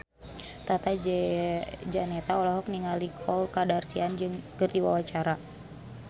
Tata Janeta olohok ningali Khloe Kardashian keur diwawancara